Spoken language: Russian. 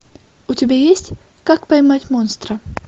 у тебя есть как поймать монстра